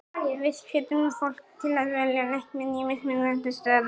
Við hvetjum fólk til að velja leikmenn í mismunandi stöðum.